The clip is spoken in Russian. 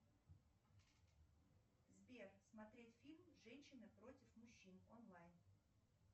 сбер смотреть фильм женщины против мужчин онлайн